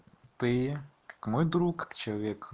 ты как мой друг человек